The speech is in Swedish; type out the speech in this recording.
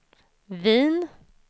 Wien